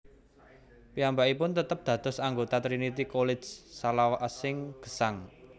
Piyambakipun tetep dados anggota Trinity College salawasing gesang